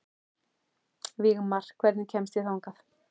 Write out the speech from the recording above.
Vígmar, hvernig kemst ég þangað?